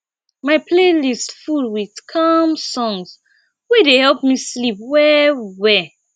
my playlist full with calm songs wey dey help me sleep well well